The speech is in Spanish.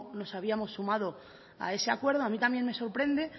nos habíamos sumado a ese acuerdo a mí también me sorprende